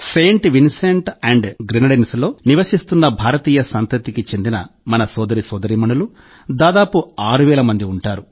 Saint Vincent and గ్రెనడిన్స్లో నివసిస్తున్న భారతీయ సంతతికి చెందిన మన సోదర సోదరీమణులు దాదాపు ఆరు వేల మంది ఉంటారు